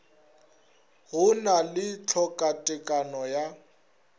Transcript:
go na le tlhokatekano ya